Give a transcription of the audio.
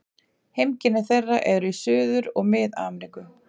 Heimkynni þeirra eru í Suður- og Mið-Ameríku.